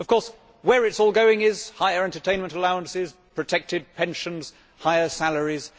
Of course, where it is all going is higher entertainment allowances, protected pensions, higher salaries.